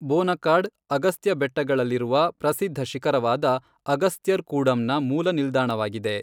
ಬೋನಕಾಡ್ ಅಗಸ್ತ್ಯ ಬೆಟ್ಟಗಳಲ್ಲಿರುವ ಪ್ರಸಿದ್ಧ ಶಿಖರವಾದ ಅಗಸ್ತ್ಯರ್ಕೂಡಂನ ಮೂಲ ನಿಲ್ದಾಣವಾಗಿದೆ.